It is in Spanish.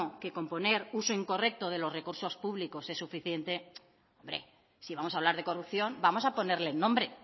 que con poner uso incorrecto de los recursos públicos es suficiente hombre si vamos a hablar de corrupción vamos a ponerle el nombre